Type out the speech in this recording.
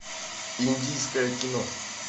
индийское кино